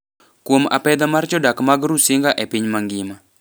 kuom "apedha" mar jodak mag Rusinga e piny mangima.